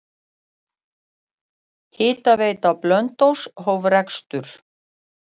Hitaveita Blönduóss hóf rekstur.